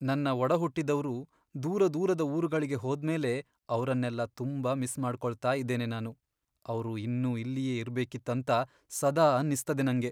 ನನ್ನ ಒಡಹುಟ್ಟಿದವ್ರು ದೂರದೂರದ ಊರುಗಳಿಗೆ ಹೋದ್ಮೇಲೆ ಅವ್ರನ್ನೆಲ್ಲ ತುಂಬಾ ಮಿಸ್ ಮಾಡ್ಕೊಳ್ತಾ ಇದ್ದೇನೆ ನಾನು. ಅವ್ರು ಇನ್ನೂ ಇಲ್ಲಿಯೇ ಇರ್ಬೇಕಿತ್ತಂತ ಸದಾ ಅನ್ನಿಸ್ತದೆ ನಂಗೆ.